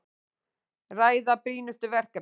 Ræða brýnustu verkefnin